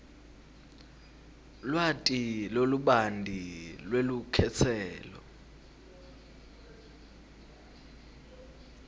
lwati lolubanti lwelukhetselo